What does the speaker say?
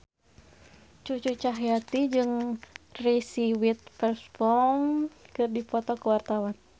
Cucu Cahyati jeung Reese Witherspoon keur dipoto ku wartawan